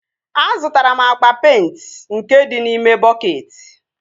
Azụtara m agba peịnti nke dị n'ime bọketị